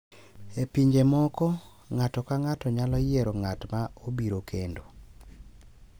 E pinje moko, ng’ato ka ng’ato nyalo yiero ng’at ma obiro kendo,